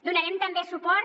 donarem també suport